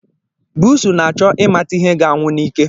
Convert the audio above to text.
Busu na-achọ ịmata ihe ga-anwụ n'ike